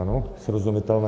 Ano, srozumitelné?